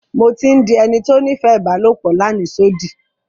Mo ti ń dí ènì tó nífẹ̀ ibàlọpò làníṣòdí.